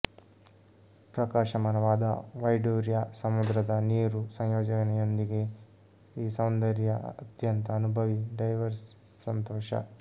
ಪ್ರಕಾಶಮಾನವಾದ ವೈಡೂರ್ಯ ಸಮುದ್ರದ ನೀರು ಸಂಯೋಜನೆಯೊಂದಿಗೆ ಈ ಸೌಂದರ್ಯ ಅತ್ಯಂತ ಅನುಭವಿ ಡೈವರ್ಸ್ ಸಂತೋಷ